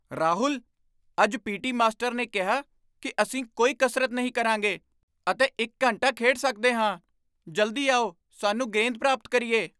ਰਾਹੁਲ! ਅੱਜ P T. Master ਨੇ ਕਿਹਾ ਕੀ ਅਸੀਂ ਕੋਈ ਕਸਰਤ ਨਹੀਂ ਕਰਾਂਗੇ ਅਤੇ ਇੱਕ ਘੰਟਾ ਖੇਡ ਸਕਦੇ ਹਾਂ! ਜਲਦੀ ਆਓ, ਸਾਨੂੰ ਗੇਂਦ ਪ੍ਰਾਪਤ ਕਰੀਏ!